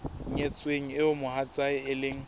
nyetsweng eo mohatsae e leng